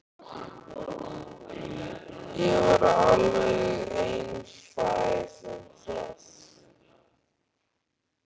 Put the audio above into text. Ég var alveg einfær um það.